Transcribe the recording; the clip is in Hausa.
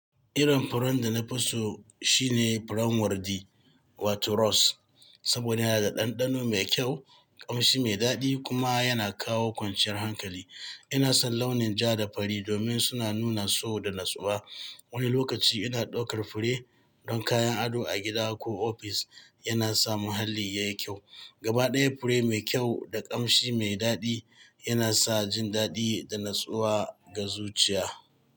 Irin furen da na fi so shine furen wardi, wato rose, saboda yana da ɗanɗano mai kyau, ƙamshi mai daɗi kuma yana kawo kwanciyar hankali. Ina son launin ja da fari domin suna nuna so da natsuwa. Wani lokaci ina ɗaukar fure don kayan ado a gida ko ofis, yana sa muhalli yayi kyau. Gabaɗaya fure mai kyau da ƙamshi mai daɗi yana sa jin daɗi da natsuwa ga zuciya.